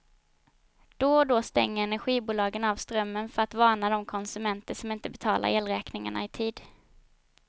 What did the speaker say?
Då och då stänger energibolagen av strömmen för att varna de konsumenter som inte betalar elräkningarna i tid.